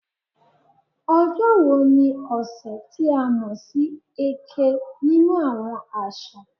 "Ojo wo ni ọsẹ ti a mọ si "Eke" ninu awọn aṣa?"